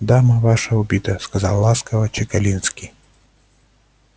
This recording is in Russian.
дама ваша убита сказал ласково чекалинский